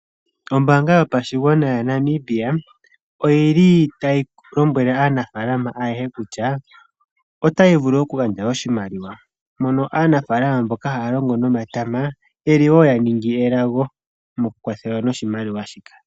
Ombanga yotango yopashigwana oyi li tayi lombwele aanafalama ayehe kutya otayi vulu okugandja oshimaliwa, mono aanafalama mboka haya longo nomatama ye li wo ya ningi elago mokukwathelwa noshimaliwa shika.